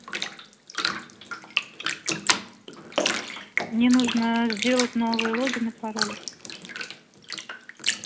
мне нужно сделать новый логин и пароль